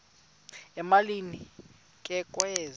emalini ke kwezi